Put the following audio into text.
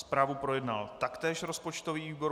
Zprávu projednal taktéž rozpočtový výbor.